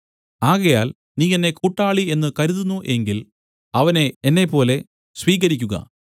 ആകയാൽ നീ എന്നെ കൂട്ടാളി എന്ന് കരുതുന്നു എങ്കിൽ അവനെ എന്നെപ്പോലെ സ്വീകരിക്കുക